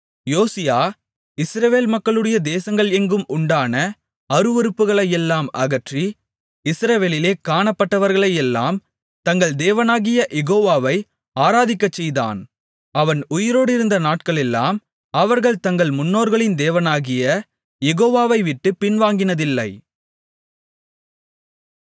யோசியா இஸ்ரவேல் மக்களுடைய தேசங்கள் எங்கும் உண்டான அருவருப்புகளையெல்லாம் அகற்றி இஸ்ரவேலிலே காணப்பட்டவர்களையெல்லாம் தங்கள் தேவனாகிய யெகோவாவை ஆராதிக்கச் செய்தான் அவன் உயிரோடிருந்த நாட்களெல்லாம் அவர்கள் தங்கள் முன்னோர்களின் தேவனாகிய யெகோவாவைவிட்டுப் பின்வாங்கினதில்லை